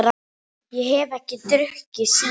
Ég hef ekki drukkið síðan.